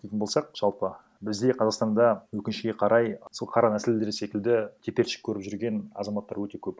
дейтін болсақ жалпы бізде қазақстанда өкінішке қарай сол қара нәсілдер секілді теперіш көріп жүрген азаматтар өте көп